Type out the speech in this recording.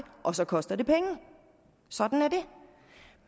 og så koster det penge sådan er det